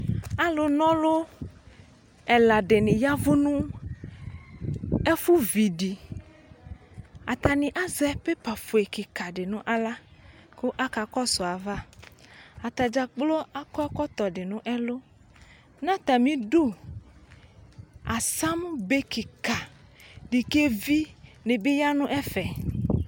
Alu nɔlʋ ɛla dini yavʋ nʋ ɛfʋ vidiAtani azɛ paper fue kika di nʋ aɣla , kʋ akakɔsʋ ayavaAtadzakplo akɔ ɛkɔtɔ dinʋ ɛlʋNatamidu, asam bekika di kɛvi ni bi yanu ɛfɛ